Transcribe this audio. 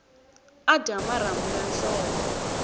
a dya marhambu ya nhloko